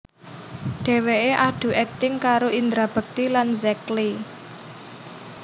Dheweké adu akting karo Indra Bekti lan Zack Lee